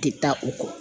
Tɛ taa o kɔ